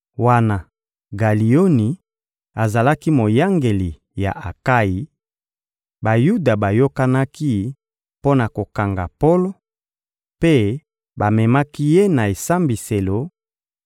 Wana Galioni azalaki moyangeli ya Akayi, Bayuda bayokanaki mpo na kokanga Polo, mpe bamemaki ye na esambiselo